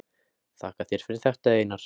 Þakka þér fyrir þetta Einar.